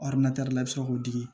la i bɛ se k'o di